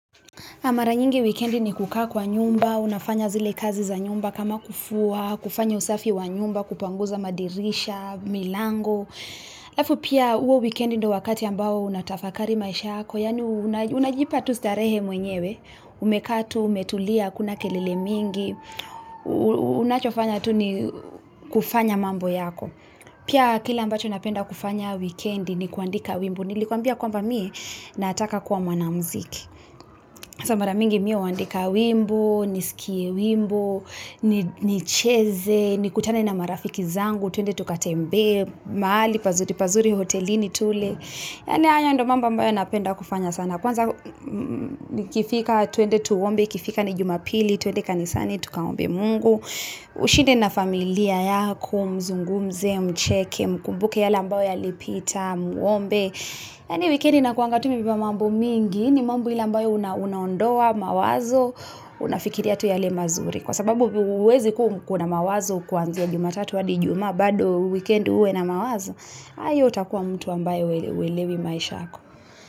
Mara nyingi wikendi ni kukaa kwa nyumba, unafanya zile kazi za nyumba kama kufua, kufanya usafi wa nyumba, kupanguza madirisha, milango wikendi ndiyo wakati ambao unatafakari maisha yako unajipa tu starehe mwenyewe, umekaa tu, umetulia, hakuna kelele mingi unacho fanya tu ni kufanya mambo yako kila ambacho napenda kufanya wikendi ni kuandika wimbo nakuambia kwamba mimi nataka kuwa mwanamziki sasa mara mingi mimi huandika wimbo nicheze nikutane na marafiki zangu twende tukatembee mahali pazuripazuri hotelini tule yani haya ndiyo mambo napenda kufanya sana kwanza ikifika ni jumapili twende kanisani twende tukaombe Mungu ushinde na familia yako muzungumze mcheke mkumbuke yale ambalo yalipita muombe yani wekendi inakuwa imebeba mambo mingi ni mambo ile unaondoa mawazo unafikiria tu yale mazuri kwa sababu huwezi kuwa na mawazo kutoka jumatatu hadi ijuma bado wikendi uwe na mawazo hiyo utakuwa mtu huelewi maisha yako.